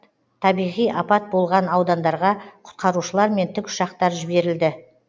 табиғи апат болған аудандарға құтқарушылар мен тікұшақтар жіберілді